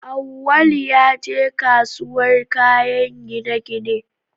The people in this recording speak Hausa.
Awwalu ya je kasuwar kayan gine-gine